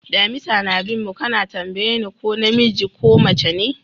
Damisa na bin mu ka na tambaye ni ko na miji ko mace ne?